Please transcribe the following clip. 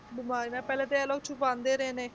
ਬਿਮਾਰੀ ਨਾਲ ਪਹਿਲਾਂ ਤਾਂ ਇਹ ਲੋਕ ਛੁਪਾਉਂਦੇ ਰਹੇ ਨੇ,